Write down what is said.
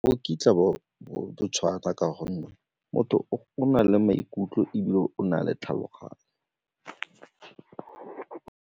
O kitla bo ka gonne motho o na le maikutlo ebile o na le tlhaloganyo.